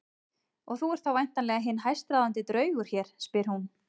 Og þú ert þá væntanlega hinn hæstráðandi draugur hér, spyr hún.